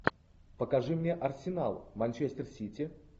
покажи мне арсенал манчестер сити